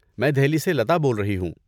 میں دہلی سے لتا بول رہی ہوں۔